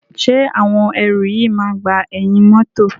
Ṣé àwọn ẹrù yìí máa gba ẹ̀yìn mọ́tọ̀.